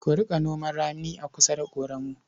Ku riƙa noman rani a kusa da ƙoramu.